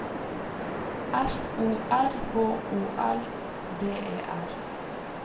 F O R H O L D E R